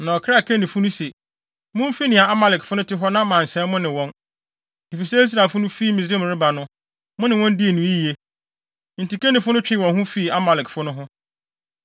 Na ɔkraa Kenifo no se, “Mumfi nea Amalekfo no te hɔ na mansɛe mo ne wɔn, efisɛ Israelfo no fi Misraim reba no, mo ne wɔn dii no yiye.” Enti Kenifo no twee wɔn ho fi Amalekfo no ho.